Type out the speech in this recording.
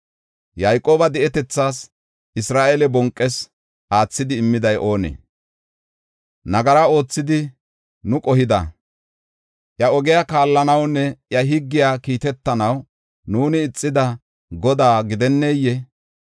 Yayqooba di7etethas, Isra7eele bonqees aathidi immiday oonee? Nagara oothidi nu qohida, iya ogiya kaallanawunne, iya higgiya kiitetanaw nuuni ixida Godaa gidenneyee?